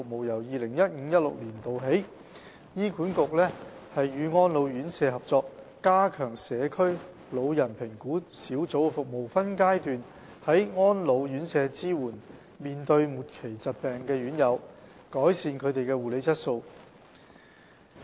由 2015-2016 年度起，醫管局與安老院舍合作，加強社區老人評估小組的服務，分階段在安老院舍支援面對末期疾病的院友，改善他們的護理質素。